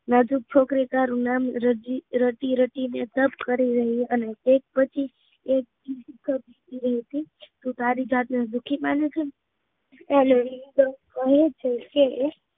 નાજુક છોકરી આમ રડતી રડતી ને શક કરી રહી અને એક પછી તું તારી જાત ને દુઃખી મને છે